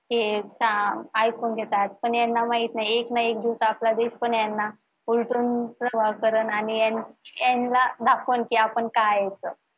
ही ऐकतात, ऐकून घेतात पण ह्यांना माहित नाही एक ना एक दिवस उलटून प्रवाह करण नि याना दाखवू कि आपण काय आहे त